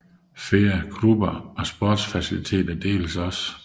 Flere klubber og sportsfaciliteter deles også